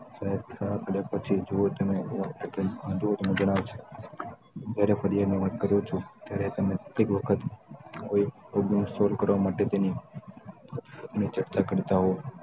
જુઓ તમે હું જ્યારે ફરિયાદ ની વાત કરું છું ત્યારે તમે કેટલીક વખત કોઈક problem solve કરવા માટે તેની કરતા હો